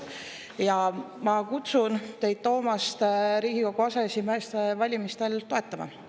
Ja ma kutsun teid Toomast Riigikogu aseesimeeste valimisel toetama.